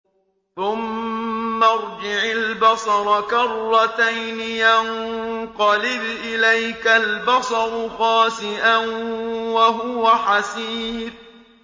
ثُمَّ ارْجِعِ الْبَصَرَ كَرَّتَيْنِ يَنقَلِبْ إِلَيْكَ الْبَصَرُ خَاسِئًا وَهُوَ حَسِيرٌ